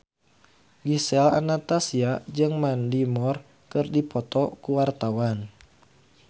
Gisel Anastasia jeung Mandy Moore keur dipoto ku wartawan